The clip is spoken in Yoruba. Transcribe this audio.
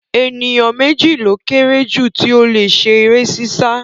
Ènìyàn méjì ló kéré jù tí ó le ṣe eré sísá